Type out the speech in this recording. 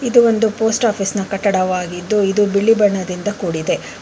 ಇದು ಒಂದು ಪೋಸ್ಟ್ ಆಫೀಸ್ನ ಕಟ್ಟಡವಾಗಿದ್ದು ಇದು ಬಿಳಿ ಬಣ್ಣದಿಂದ ಕೂಡಿದೆ.